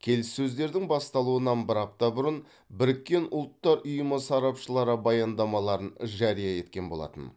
келіссөздердің басталуынан бір апта бұрын біріккен ұлттар ұйымы сарапшылары баяндамаларын жария еткен болатын